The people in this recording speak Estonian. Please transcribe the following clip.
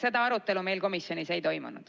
Seda arutelu meil komisjonis ei toimunud.